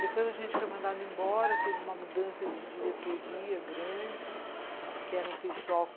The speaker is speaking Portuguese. Depois a gente foi mandado embora, teve uma mudança de diretoria grande, que era um pessoal